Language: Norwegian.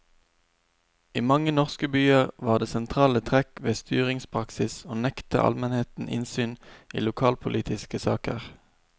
I mange norske byer var det sentrale trekk ved styringspraksis å nekte almenheten innsyn i lokalpolitiske saker.